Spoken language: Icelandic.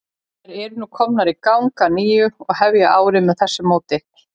Þær eru nú komnar í gang að nýju og hefja árið með þessu móti.